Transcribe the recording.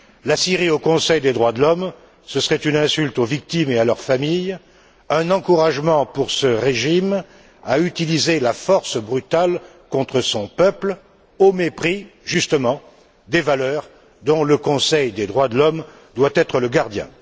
La Syrie au Conseil des droits de l'homme, ce serait une insulte aux victimes et à leurs familles, un encouragement pour ce régime à utiliser la force brutale contre son peuple, au mépris, justement, des valeurs dont le Conseil des droits de l'homme doit être le gardien.